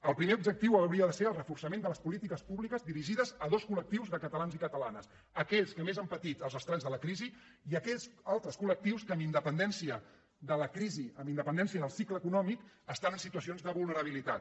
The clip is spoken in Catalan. el primer objectiu hauria de ser el reforçament de les polítiques públiques dirigides a dos col·lanes aquells que més han patit els estralls de la crisi i aquells altres col·lectius que amb independència de la crisi amb independència del cicle econòmic estan en situacions de vulnerabilitat